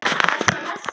Birtan á næsta degi.